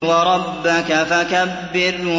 وَرَبَّكَ فَكَبِّرْ